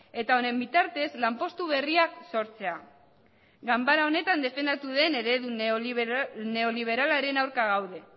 eta honen bitartez lanpostu berriak sortzea ganbara honetan defendatu den eredu neoliberalaren aurka gaude